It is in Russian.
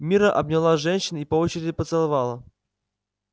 мирра обняла женщин и по очереди поцеловала